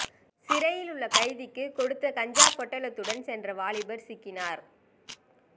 சிறையில் உள்ள கைதிக்கு கொடுக்க கஞ்சா பொட்டலத்துடன் சென்ற வாலிபர் சிக்கினார்